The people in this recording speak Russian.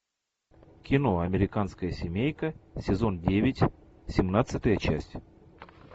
кино американская семейка сезон девять семнадцатая часть